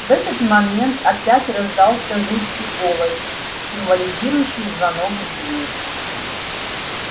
в этот момент опять раздался жуткий голос символизирующий звонок в дверь